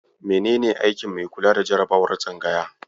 Menene aikin mai kula da jarabawar tsangaya?